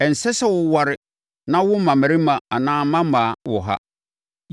“Ɛnsɛ sɛ wo ware na wowo mmammarima anaa mmammaa wɔ ha.”